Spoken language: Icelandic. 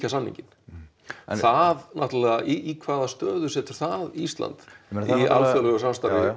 samninginn það náttúrulega í hvaða stöðu setur það Ísland í alþjóðlegu samstarfi